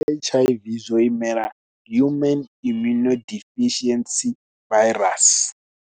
H_I_Vzwo imela human immuno deficiency virus.